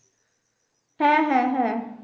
হ্যাঁ হ্যাঁ হ্যাঁ